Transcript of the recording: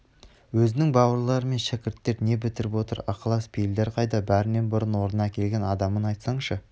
өзінің бауырлары мен шәкірттер не бітіріп отыр ықылас-пейілдер қайда бәрінен бұрын орнына әкелген адамын айтсаңшы